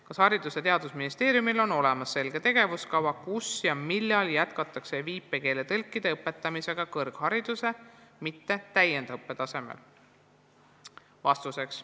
Kas Haridus- ja Teadusministeeriumil on olemas selge tegevuskava, kus ja millal jätkatakse viipekeeletõlkide õpetamisega kõrghariduse, mitte täiendõppe tasemel?